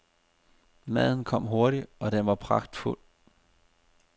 Maden kom hurtigt, og den var pragtfuld.